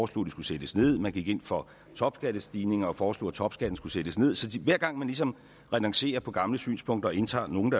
skulle sættes ned man gik ind for topskattestigning og foreslog at topskatten skulle sættes nederst så hver gang man ligesom renoncerer på gamle synspunkter og indtager nogle